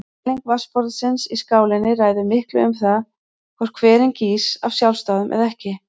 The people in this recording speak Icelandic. Kæling vatnsborðsins í skálinni ræður miklu um það hvort hverinn gýs af sjálfsdáðum eða ekki.